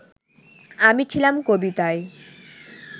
আমি ছিলাম কবিতায়